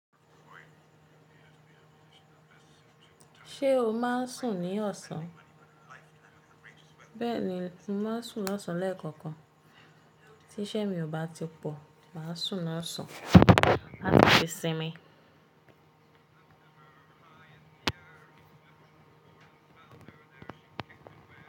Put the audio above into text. Ṣé o máa ń sùn ní ọ̀sán? Bẹ́ẹ̀ni, mo máa ń sùn ní ọ̀sán lẹ́ẹ̀kọ̀kan. Tí iṣẹ́ mi ò bá ti pọ̀, màá sùn ní ọ̀sán, làti fi sinmi.